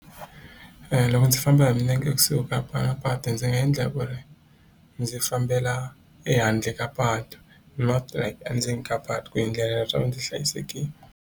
Loko ndzi famba hi milenge ekusuhi ka patu ndzi nga endla ku ri ndzi fambela ehandle ka patu not like endzeni ka patu ku endlela leswaku ndzi hlayisekile.